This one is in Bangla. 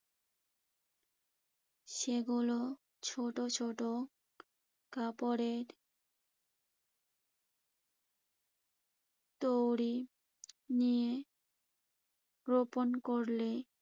সেগুলো ছোট ছোট কাপড়ের দড়ি নিয়ে রোপণ করলে